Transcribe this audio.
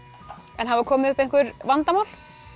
en hafa komið upp einhver vandamál